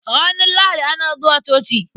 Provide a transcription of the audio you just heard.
Ranar Lahadi ana zuwa coci.